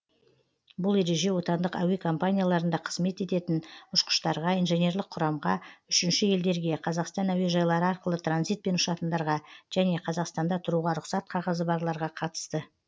бұл ереже отандық әуе компанияларында қызмет ететін ұшқыштарға инженерлік құрамға үшінші елдерге қазақстан әуежайлары арқылы транзитпен ұшатындарға және қазақстанда тұруға рұқсат қағазы барларға қатысты